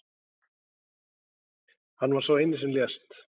Hann var sá eini sem lést